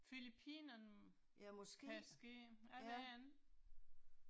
Filippinerne, kanske, jeg det ikke